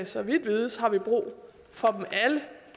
så vidt vides har vi brug for dem alle